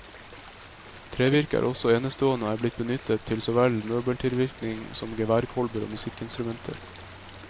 Trevirket er også enestående og er blitt benyttet til så vel møbeltilvirkning som geværkolber og musikkinstrumenter.